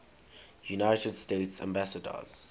united states ambassadors